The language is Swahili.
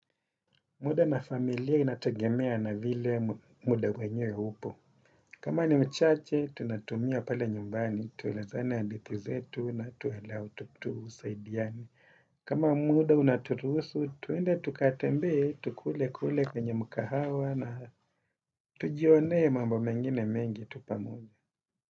Muda na familia inategemea na vile muda mwenyewe upo. Kama ni mchache, tunatumia pale nyumbani tulezane ya hadithi zetu na tuelea tu tusaidiane. Kama muda unaturuhusu, tuende tukatembee, tukule kule kwenye mkahawa na tujionee mambo mengine mengi tu pamoja.